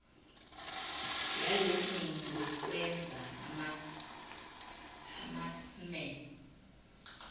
yalokhu ngukwenza amasmme